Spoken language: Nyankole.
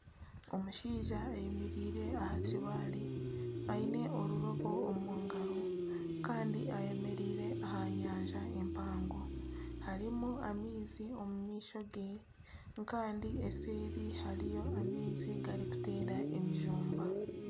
Omushaija ayemereire aha kibaare aine eirobo omu ngaro kandi ayemereire aha nyanja mpango harimu amaizi omu maisho gye kandi nseeri hariyo amaizi garikuteera emishumba